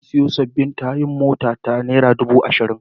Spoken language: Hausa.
Na sayo sabbin tayoyin motata naira dubu arba'in.